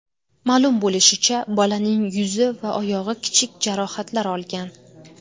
Ma’lum bo‘lishicha, bolaning yuzi va oyog‘i kichik jarohatlar olgan.